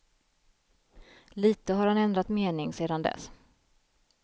Lite har han ändrat mening sedan dess.